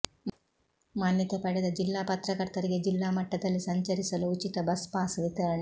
ಮಾನ್ಯತೆ ಪಡೆದ ಜಿಲ್ಲಾ ಪತ್ರಕರ್ತರಿಗೆ ಜಿಲ್ಲಾ ಮಟ್ಟದಲ್ಲಿ ಸಂಚರಿಸಲು ಉಚಿತ ಬಸ್ ಪಾಸ್ ವಿತರಣೆ